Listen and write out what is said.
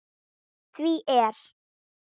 Því er